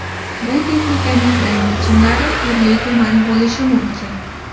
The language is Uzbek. Bu texnikaning rang yechimlari turli-tuman bo‘lishi mumkin.